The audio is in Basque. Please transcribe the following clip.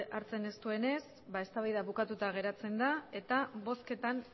hartzen ez duenez eztabaida bukatuta geratzen da eta bozketan